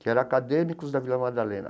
que eram acadêmicos da Vila Madalena.